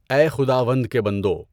اَے خُداوند کے بندو!